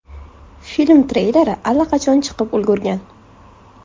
Film treyleri allaqachon chiqib ulgurgan.